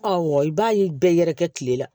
Ɔ i b'a ye bɛɛ yɛrɛkɛ tile la